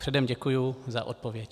Předem děkuji za odpověď.